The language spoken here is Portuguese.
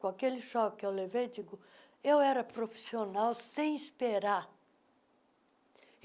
Com aquele choque que eu levei, digo, eu era profissional sem esperar.